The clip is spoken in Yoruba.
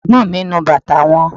Ẹ̀gbọ́n mi ń nu bàtà wọn